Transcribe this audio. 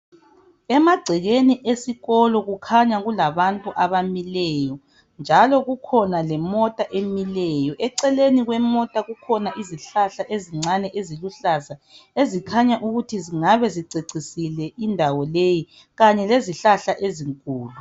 Emagcekeni esikolo kukhanya kulabantu abamileyo njalo kukhona lemota emileyo eceleni kwemota kukhona izihlahla ezincane eziluhlaza ezikhanya ukuthi zingabe zicecisile indawo leyi kanye lezihlahla ezinkulu.